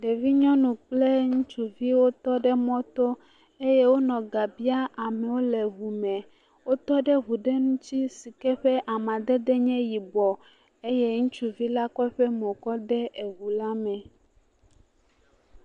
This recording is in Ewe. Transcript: Ɖevi nyɔnu kple ŋutsuviwo tɔ ɖe mɔ to eye wonɔ ga biam amewo le ŋu me. Wotɔ ɖe ŋu aɖe ŋuti si ke ƒe amadede nye yibɔ eye ŋutsuvi la kɔ eƒe mo kɔ de eŋu la me.